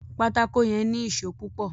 pátákó yén ní Ìṣó púpò